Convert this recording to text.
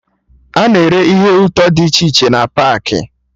Ana ere ihe ụtọ dị iche iche na paakị